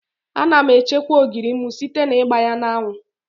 Ana m echekwa ogiri m site n'igba ya n'anwụ.